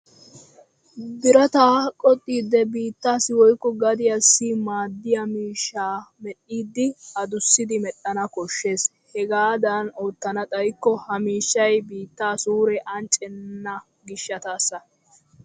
Birataa koxxidi biixxassi woykko gaddiyassi maaddiya miishshaa medhdhiiddi adussidi medhdhana koshshes. Hegaadan oottana xayikko ha mishshay biitta suure anccenna gishshataassi.